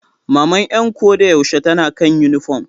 Maman 'yan ko da yaushe tana kan yunifom.